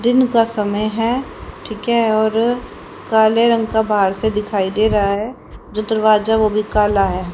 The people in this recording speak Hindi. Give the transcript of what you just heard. दिन का समय है ठीक है और काले रंग का बाहर से दिखाई दे रहा है जो दरवाजा वो भी काला है।